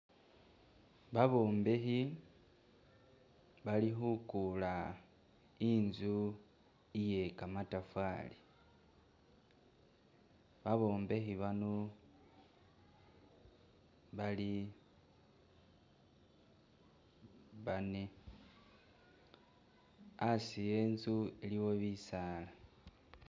Babombekhi bali khuguula inzu iye gamatafari babombekhi bano bali bane hasi henzu aliwo bisaala.